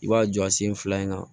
I b'a jɔ a sen fila in na